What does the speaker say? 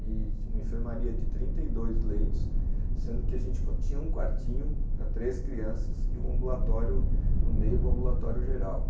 e uma enfermaria de trinta e dois leitos, sendo que a gente tinha um quartinho para três crianças e um ambulatório no meio de um ambulatório geral.